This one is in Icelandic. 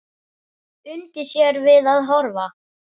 Undi sér við að horfa.